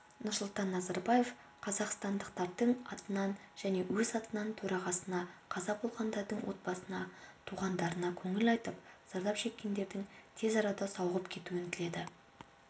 нұрсұлтан назарбаев қазақстандықтардың атынан және өз атынан төрағасына қаза болғандардың отбасына туғандарына көңіл айтып зардап шеккендердің тез арада сауығып кетуін тіледі